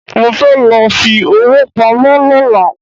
Mo fẹ́ lọ fi owó pamọ́ lọ́la